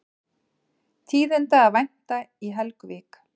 Tíðinda að vænta í Helguvík